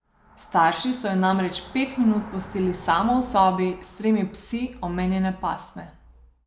Starši so jo namreč pet minut pustili samo v sobi s tremi psi omenjene pasme.